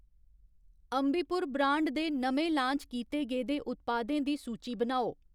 Ambi Pur brand दे नमें launch कीते गेदे उत्पादें दी सूची बनाओ ?